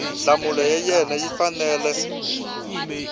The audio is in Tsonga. nhlamulo ya wena yi fanele